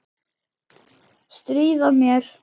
Stríða mér.